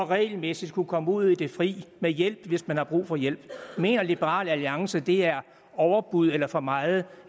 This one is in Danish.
regelmæssigt at kunne komme ud i det fri med hjælp hvis man har brug for hjælp mener liberal alliance at det er overbud eller for meget